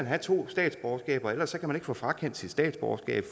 have to statsborgerskaber ellers kan man ikke få frakendt sit statsborgerskab